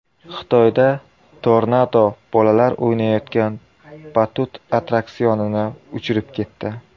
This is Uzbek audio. Xitoyda tornado bolalar o‘ynayotgan batut attraksionini uchirib ketdi .